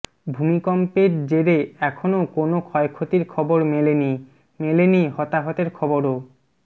ভূমিকম্পের জেরে এখনও কোনও ক্ষয়ক্ষতির খবর মেলেনি মেলেনি হতাহতের খবরও